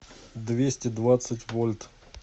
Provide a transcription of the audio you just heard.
двести двадцать вольт